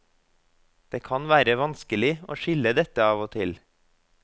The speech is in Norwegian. Det kan være vanskelig å skille dette av og til.